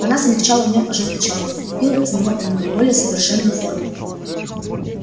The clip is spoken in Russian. она смягчала в нём ожесточённость лепила из него иную более совершенную форму